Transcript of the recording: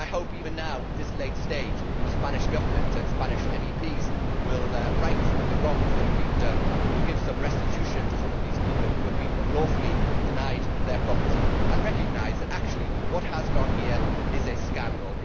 I hope even now, at this late stage, that the Spanish Government and Spanish MEPs will right some of the wrongs that have been done and will give some restitution to some of these people who have been unlawfully denied their property and recognise that, actually, what has gone on here is a scandal.